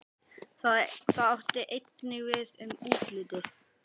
Það átti einnig við um útlitið.